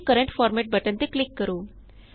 keep current format button ਤੇ click ਕਰੋ